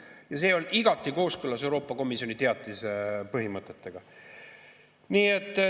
Nii et see on igati kooskõlas Euroopa Komisjoni teatise põhimõtetega.